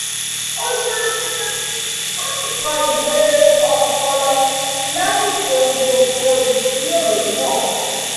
o dúró jẹ́jẹ́ ó sì kọ ìwé ọpọlọ lásìkò gbogbo ìjírórò náà